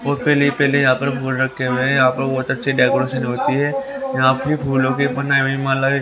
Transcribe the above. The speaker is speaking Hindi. और पहले ही पहले यहां पर फूल रखे हुए हैं यहां पर बहुत अच्छी डेकोरेशन होती है यहां फिर फूलों की बनाई हुई माला --